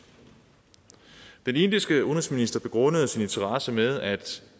den indiske udenrigsminister begrundede sin interesse med at